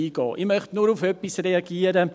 Ich möchte nur auf etwas reagieren: